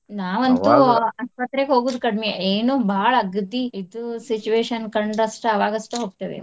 ಆಸ್ಪತ್ರೆಗೆ ಹೋಗುದ ಕಡಿಮಿ. ಏನೊ ಬಾಳ ಅಗದೀ ಇದು situation ಕಂಡ್ರ ಅಷ್ಟ ಅವಾಗಷ್ಟ ಹೋಗ್ತೇವಿ.